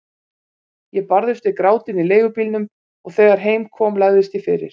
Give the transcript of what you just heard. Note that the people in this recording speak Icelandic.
Ég barðist við grátinn í leigubílnum og þegar heim kom lagðist ég fyrir.